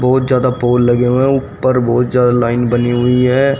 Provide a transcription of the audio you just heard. बहोत ज्यादा पोल लगे हुए है ऊपर बहुत ज्यादा लाइन बनी हुई है।